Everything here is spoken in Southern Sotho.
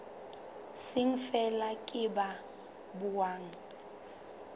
seng feela ke ba buang